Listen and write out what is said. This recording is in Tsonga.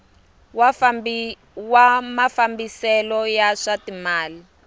wa mafambiselo ya swa timal